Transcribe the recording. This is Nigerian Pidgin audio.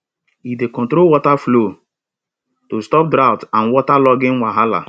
e dey control water flow to stop drought and waterlogging wahala